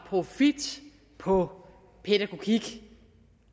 profit på pædagogik